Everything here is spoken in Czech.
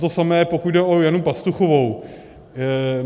To samé, pokud jde o Janu Pastuchovou.